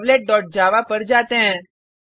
checkoutservletजावा पर जाते हैं